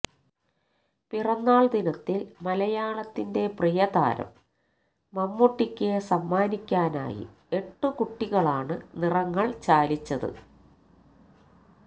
പിറന്നാൾ ദിനത്തിൽ മലയാളത്തിന്റെ പ്രിയ താരം മമ്മൂട്ടിക്ക് സമ്മാനിക്കാനായി എട്ടു കുട്ടികളാണ് നിറങ്ങൾ ചാലിച്ചത്